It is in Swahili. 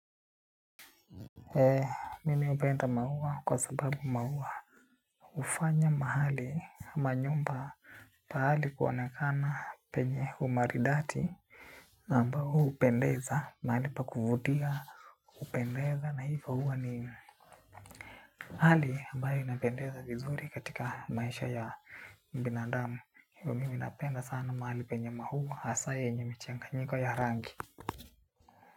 Ee mimi hupenda maua kwa sababu maua hufanya mahali ama nyumba pahali kuonekana penye umaridadi ambao hupendeza mahali pa kuvutia hupendeza na hivo huwa ni hali ambayo inapendeza vizuri katika maisha ya binadamu. Hivo mimi napenda sana mahali penye maua hasa yenye michanganyiko ya rangi.